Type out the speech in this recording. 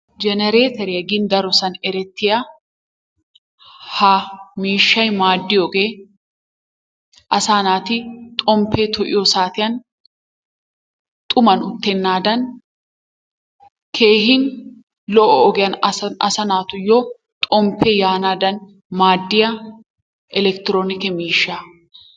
Jenereeteriya gin darosan erettiya ha miishshay maaddiyogee asaa naati xomppee to'iyo saatiyan xuman uttennaadan keehi lo'o ogiyan asaa naatuyyo xomppee yaanaadan maaddiya elekitiroonike miishsha.